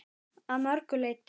Að mörgu leyti.